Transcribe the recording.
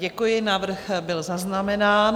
Děkuji, návrh byl zaznamenán.